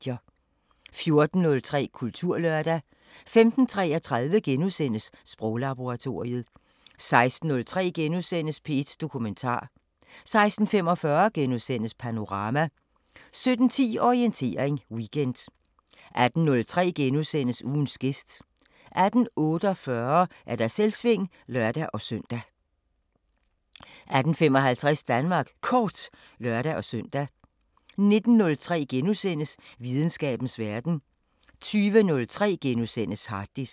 14:03: Kulturlørdag 15:33: Sproglaboratoriet * 16:03: P1 Dokumentar * 16:45: Panorama * 17:10: Orientering Weekend 18:03: Ugens gæst * 18:48: Selvsving (lør-søn) 18:55: Danmark Kort (lør-søn) 19:03: Videnskabens Verden * 20:03: Harddisken *